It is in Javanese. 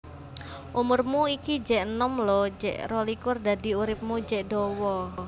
Umurmu iki jek enom lho jek rolikur dadi uripmu jek dawa